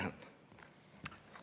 Ma tänan!